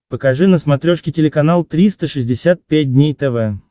покажи на смотрешке телеканал триста шестьдесят пять дней тв